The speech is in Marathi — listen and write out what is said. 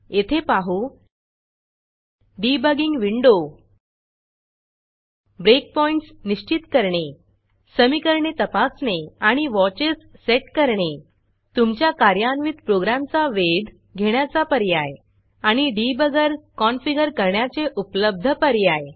येथे पाहू debuggingडिबगिंग विंडो breakpointsब्रेक पॉइण्ट्स निश्चित करणे समीकरणे तपासणे आणि watchesवॉचस सेट करणे तुमच्या कार्यान्वित प्रोग्रॅमचा वेध घेण्याचा पर्याय आणि डिबगर कॉनफिगर करण्याचे उपलब्ध पर्याय